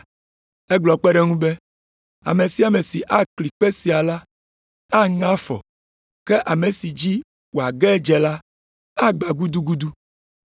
Egblɔ kpe ɖe eŋu be, “Ame sia ame si akli kpe sia la aŋe afɔ. Ke ame si dzi wòage adze la, agbã gudugudu.”